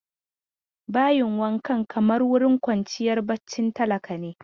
Bayin wankan kamar wurin kwanciyar barcin talaka ne.